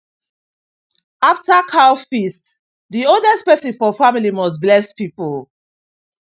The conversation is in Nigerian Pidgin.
after cow feast the oldest person for family must bless people